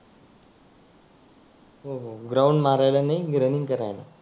हो हो ग्राउंड मारायला नाही रनींग करायला.